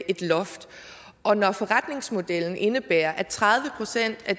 et loft og når forretningsmodellen indebærer at tredive procent af